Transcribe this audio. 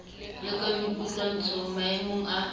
le ka boikutlwahatso maemong a